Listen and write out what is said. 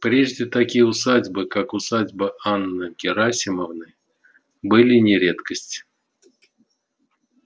прежде такие усадьбы как усадьба анны герасимовны были не редкость